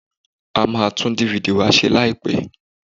A máa tú DVD wa se láìpẹ́.